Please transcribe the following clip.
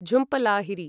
Jhumpa Lahiri